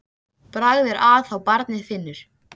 En það var bara sónninn í símanum sem heyrði það.